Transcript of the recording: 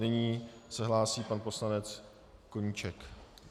Nyní se hlásí pan poslanec Koníček.